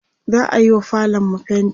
za'ayiwa falonmu fainti